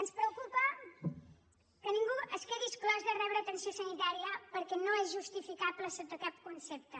ens preocupa que ningú es quedi exclòs de rebre atenció sanitària perquè no és justificable sota cap concepte